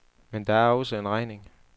Men der er også en regning.